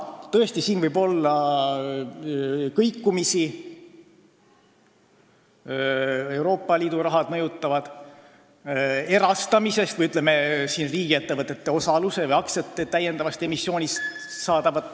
Tõesti, siin võib olla kõikumisi, mõjutab Euroopa Liidu raha, ka erastamisest või, ütleme, riigiettevõtete osaluse või aktsiate täiendavast emissioonist ...